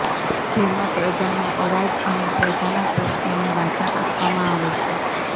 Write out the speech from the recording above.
જેમાં પ્રજાનો અવાજ અને પ્રજાના પ્રશ્નોને વાચા આપવામાં આવે છે